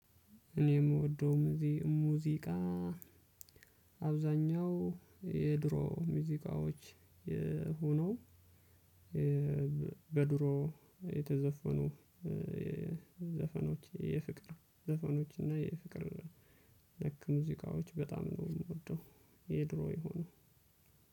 እኔ የምወደው ሙዚቃ አብዛኛው የድሮ ሙዚቃዎች ሆነው በድሮ የተዘፈኑ ዘፈኖች የፍቅር ዘፈኖች እና የፍቅር ነክ ሙዚቃዎች በጣም ነው የምወደው። የ ድሮ የሆነው።